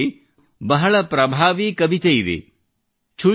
ಬಂಗಾಳಿಯಲ್ಲಿ ಒಂದು ಬಹಳ ಪ್ರಭಾವಿ ಕವಿತೆಯಿದೆ